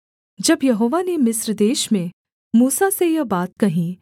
जब यहोवा ने मिस्र देश में मूसा से यह बात कहीं